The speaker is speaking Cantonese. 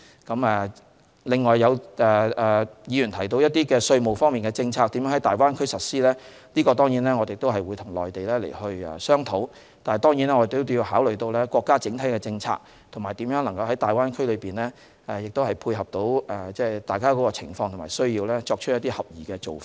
此外，有議員提到一些稅務政策如何在大灣區內實施，我們會跟內地商討，但我們必須考慮國家整體政策，並在大灣區內配合彼此的情況和需要，作出合適的做法。